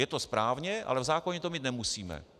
Je to správně, ale v zákoně to mít nemusíme.